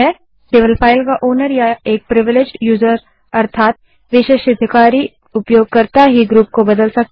केवल फाइल का ओनर या एक प्रिविलेज्ड यूजर विशेषाधिकारी उपयोगकर्ता ही ग्रुप को बदल सकता है